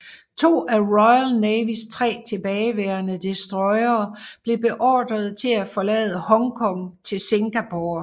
To af Royal Navys tre tilbageværende destroyere blev beordret til at forlade Hongkong til Singapore